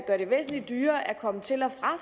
gør det væsentlig dyrere at komme til og fra